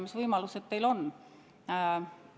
Mis võimalused teil on?